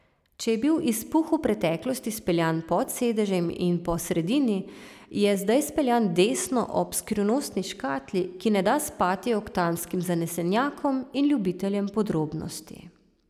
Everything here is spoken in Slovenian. Če je bil izpuh v preteklosti speljan pod sedežem in po sredini, je zdaj speljan desno ob skrivnostni škatli, ki ne da spati oktanskim zanesenjakom in ljubiteljem podrobnosti.